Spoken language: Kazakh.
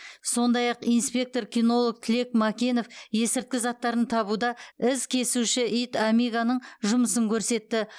сондай ақ нспектор кинолог тілек мәкенов есірткі заттарын табуда із кесуші ит амигоның жұмысын көрсетті